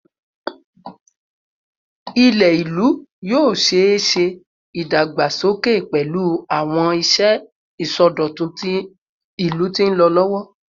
Ilẹ ilu yoo ṣee ṣe idagbasoke pẹlu awọn iṣẹ isọdọtun ilu ti nlọ lọwọ